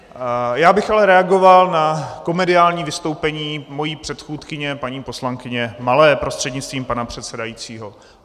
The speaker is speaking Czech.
Já bych ale reagoval na komediální vystoupení své předchůdkyně paní poslankyně Malé prostřednictvím pana předsedajícího.